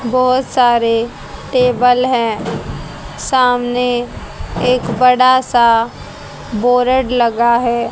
बहुत सारे टेबल हैं सामने एक बड़ा सा बोरड लगा है।